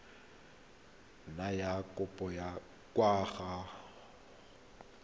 nna ya kopiwa kwa go